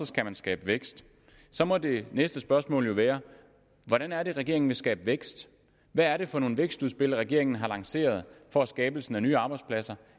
skal man skabe vækst så må det næste spørgsmål være hvordan er det regeringen vil skabe vækst hvad er det for nogle vækstudspil regeringen har lanceret for skabelsen af nye arbejdspladser